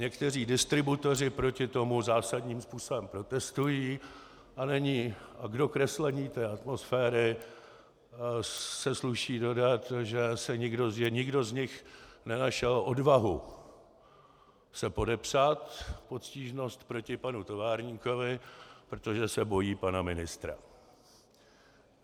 Někteří distributoři proti tomu zásadním způsobem protestují a k dokreslení atmosféry se sluší dodat, že nikdo z nich nenašel odvahu se podepsat pod stížnost proti panu továrníkovi, protože se bojí pana ministra.